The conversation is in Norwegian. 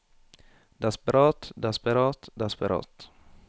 desperat desperat desperat